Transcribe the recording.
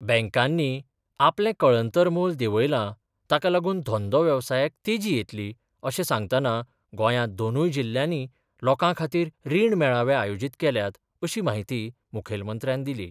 बँकांनी आपले कळंतर मोल देवयला ताका लागून धंदो वेवसायाक तेजी येतली अशें सांगतना गोंयांत दोनूय जिल्ल्यांनी लोकां खातीर रीण मेळावे आयोजीत केल्यात अशी माहिती मुखेलमंत्र्यान दिली.